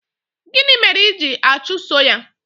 gịnị mere I ji achuso ya?